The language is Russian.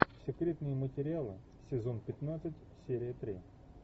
секретные материалы сезон пятнадцать серия три